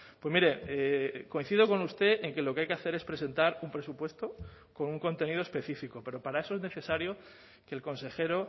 pues mire coincido con usted en que lo que hay que hacer es presentar un presupuesto con un contenido específico pero para eso es necesario que el consejero